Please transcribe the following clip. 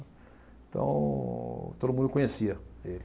Então, todo mundo conhecia ele.